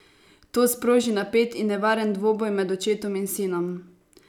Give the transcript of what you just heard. To sproži napet in nevaren dvoboj med očetom in sinom.